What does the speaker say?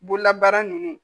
Bololabaara ninnu